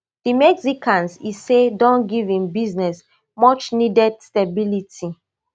di mexicans e say don give im business muchneeded stability